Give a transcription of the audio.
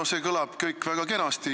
No see kõlab kõik väga kenasti.